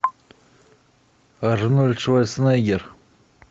арнольд шварценеггер